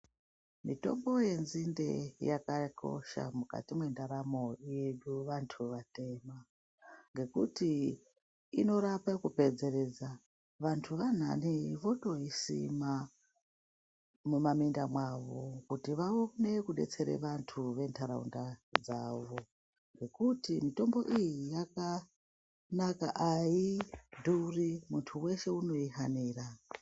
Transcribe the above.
Mitombo yedzinde yakakosha mukati mwendaramo yedu vandu vatema ngokuti inorapa kupedzeresa vandu vaangade votoyisima mumamwinda mavo kuti vaone kudetsere vandu vendaraunda dzavo futhi.